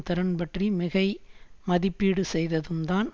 திறன் பற்றி மிகை மதிப்பீடு செய்ததும்தான்